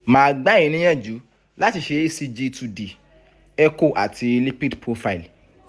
màá gbà yín níyànjú láti ṣe ecg two d echo cs] àti lipid profile